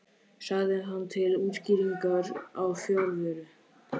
sagði hann til útskýringar á fjarveru sinni.